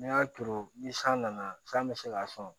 N'i y'a turu ni san nana san bɛ se k'a sɔn